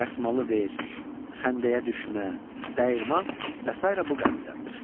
Dəsmalı ver, Xəndəyə düşmə, Dəyirman və sairə bu qəbildəndir.